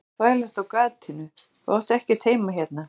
Hvað ert þú að þvælast á gatinu, þú átt ekkert heima hérna.